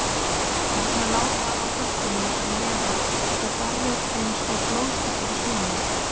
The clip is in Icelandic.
Þarna lá það á blettinum fyrir neðan og barrið eins og blóðslettur í snjónum.